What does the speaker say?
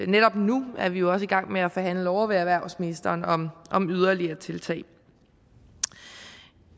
netop nu er vi jo også i gang med at forhandle ovre ved erhvervsministeren om om yderligere tiltag